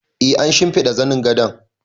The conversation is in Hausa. E, an shimfiɗa zanin gadon